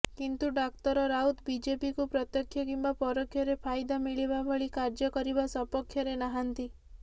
କିନ୍ତୁ ଡାକ୍ତର ରାଉତ ବିଜେପିକୁ ପ୍ରତ୍ୟକ୍ଷ କିମ୍ବା ପରୋକ୍ଷରେ ଫାଇଦା ମିଳିବା ଭଳି କାର୍ଯ୍ୟ କରିବା ସପକ୍ଷରେ ନାହାନ୍ତି